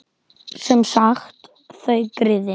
Sem sagt: þau, griðin.